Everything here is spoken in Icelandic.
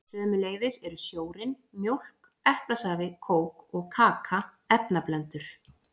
Sömuleiðis eru sjórinn, mjólk, eplasafi, kók og kaka efnablöndur.